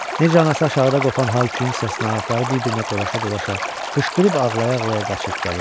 Necə anası aşağıda qopan hay-küyün səsinə ayaqları bir-birinə dolaşa-dolaşa qışqırıb ağlaya-ağlaya qaçıb gəlir.